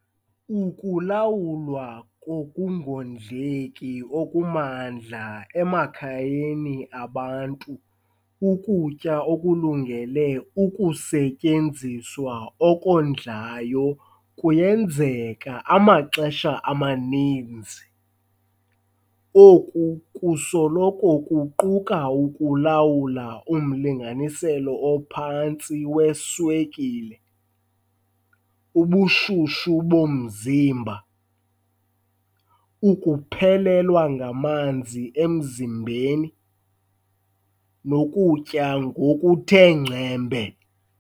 Ukulawulwa kokungondleki okumandla emakhayeni abantu ukutya okulungele ukusetyenziswa okondlayo kuyenzeka amaxesha amaninzi. Oku kusoloko kuquka ukulawula umlinganiselo ophantsi weswekile, ubushushu bomzimba, ukuphelelwa ngamanzi emzimbeni, nokutya ngokuthe ngcembe.